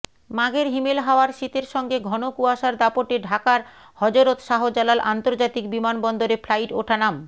মাঘের হিমেল হাওয়ার শীতের সঙ্গে ঘন কুয়াশার দাপটে ঢাকার হযরত শাহজালাল আন্তর্জাতিক বিমানবন্দরে ফ্লাইট ওঠানাম